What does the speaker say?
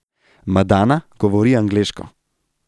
Madana govori angleško.